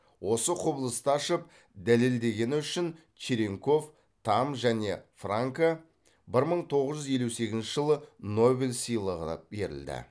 осы құбылысты ашып дәлелдегені үшін черенков тамм және франка бір мың тоғыз жүз елу сегізінші жылы нобель сыйлығы берілді